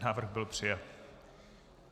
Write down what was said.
Návrh byl přijat.